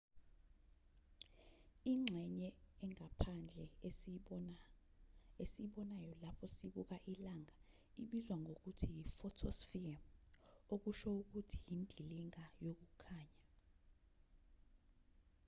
ingxenye engaphandle esiyibonayo lapho sibuka ilanga ibizwa ngokuthi yi-photosphere okusho ukuthi indilinga yokukhanya